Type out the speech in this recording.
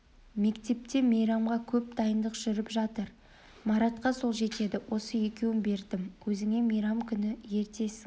мектепте мейрамға көп дайындық жүріп жатыр маратқа сол жетеді осы екеуін бердім өзіңе мейрам күні ертесің